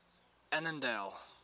annandale